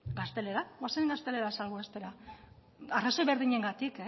gaztelera goazen gaztelera salbuestera arrazoi berdinengatik